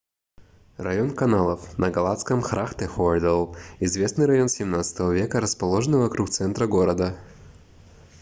район каналов на голландском: grachtengordel — известный район 17 века расположенный вокруг центра города